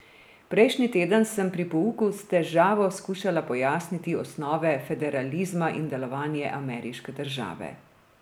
Prejšnji teden sem pri pouku s težavo skušala pojasniti osnove federalizma in delovanje ameriške države.